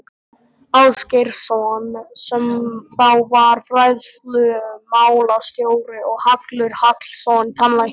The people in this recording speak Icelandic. Ásgeirs- son sem þá var fræðslumálastjóri og Hallur Hallsson tannlæknir.